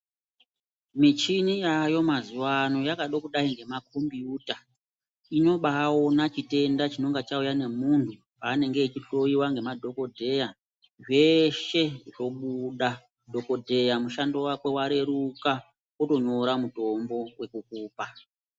Michini yaayo mazuwa ano yakada kudai ngemakombiyuta inobaaona chitenda chinonga chauya nemunthu paanenge echihloyiwa ngemadhokodheya zveshe zvobudadhokodheya mushando wake wareruka otonyora mutombo wekukupa.